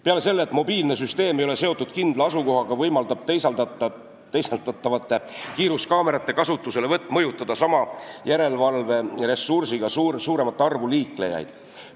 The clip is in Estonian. Peale selle, et mobiilne süsteem ei ole seotud kindla asukohaga, võimaldab teisaldatavate kiiruskaamerate kasutuselevõtt mõjutada sama järelevalveressursiga suuremat arvu liiklejaid.